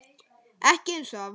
Ekki einsog það var.